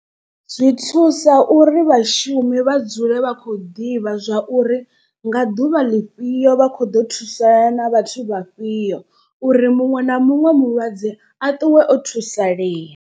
Zwi thusa uri vhashumi vha dzule vha khou ḓivha zwa uri nga ḓuvha ḽifhio vha kho ḓo thusana na vhathu vha fhio. Uri muṅwe na muṅwe mulwadze a ṱuwe o thusalea.